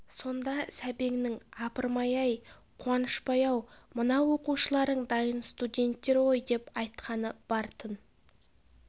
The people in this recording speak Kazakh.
сонда сәбеңнің апырмай-ай қуанышбай-ау мына оқушыларың дайын студенттер ғой деп айтқаны бар-тын